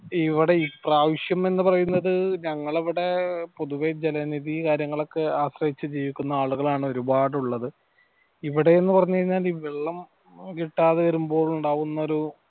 ഇവിടെ ഈ പ്രാവിശ്യം എന്ന് പറയുന്നത് ഞങ്ങളവിടെ പൊതുവെ ജലനിധി കാര്യങ്ങളൊക്കെ ആശ്രയിച്ച് ജീവിക്കുന്ന ആളുകളാണ് ഒരുപാടു ഉള്ളത് ഇവിടെ ന്ന് പറഞ്ഞു കൈഞ്ഞാൽ ഈ വെള്ളം കിട്ടാതെ വരുമ്പോൾ ഇണ്ടാവുന്നൊരു